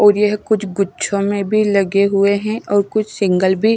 और यह कुछ गुच्छों में भी लगे हुए हैं और कुछ सिंगल भी--